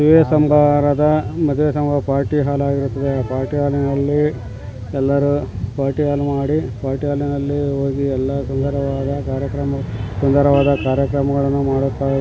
ಮದುವೇ ಸಮಾರಂಭದ ಮದುವೇ ಸಮಾರಂಭದ ಪಾರ್ಟಿ ಹಾಲ್ ಆಗಿರುತ್ತದೆ ಆ ಪಾರ್ಟಿ ಹಾಲ್ ನಲ್ಲಿ ಎಲ್ಲರು ಪಾರ್ಟಿ ಹಾಲ್ ಮಾಡಿ ಪಾರ್ಟಿ ಹಾಲ್ನಲ್ಲಿ ಹೋಗಿ ಎಲ್ಲ ಸುಂದರವಾದ ಕಾರ್ಯಕ್ರಮ ಸುಂದರವಾದ ಕಾರ್ಯಕ್ರಮಗಳನ್ನು ಮಾಡುತ್ತಾರೆ --